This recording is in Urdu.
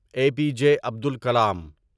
اے پی جے عبدال کلام